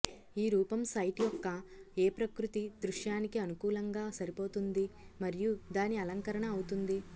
ఈ రూపం సైట్ యొక్క ఏ ప్రకృతి దృశ్యానికి అనుకూలంగా సరిపోతుంది మరియు దాని అలంకరణ అవుతుంది